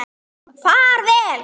En ekki bara hann.